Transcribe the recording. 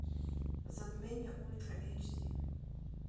затмение ультра эйч ди